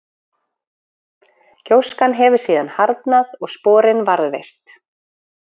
Gjóskan hefur síðan harðnað og sporin varðveist.